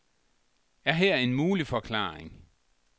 Er her en mulig forklaring?